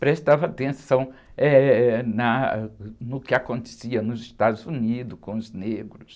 prestava atenção, eh, na, no que acontecia nos Estados Unidos com os negros.